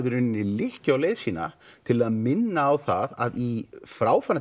lykkju á leið sína til að minna að á það að í